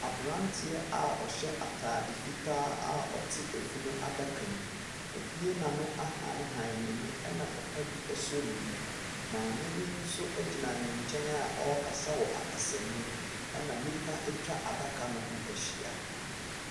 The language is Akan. Abranteɛ a ɔhyɛ ataade fitaa a ɔte ɛfunu adaka mu. Wa bue na ano ahanhan na ani ɛna papabi asɔ ne mu, maame bi nso ɛgyina ne nkyɛn a ɔɔkasa wɔ akasa mu na nnipa atwa adaka no ho ahyia.